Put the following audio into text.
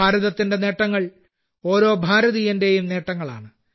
ഭാരതത്തിന്റെ നേട്ടങ്ങൾ ഓരോ ഭാരതീയന്റെയും നേട്ടങ്ങളാണ്